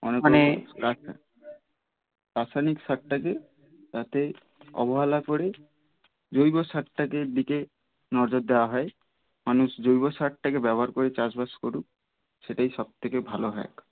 রাসায়নিক সার টা যে তাতে অবহেলা করে জৈব সার টা কে দিকে নজর দেওয়া হয় মানুষ জৈব সার টা কে ব্যবহার করে চাষবাস করুক সেটাই সবথেকে ভালো হয়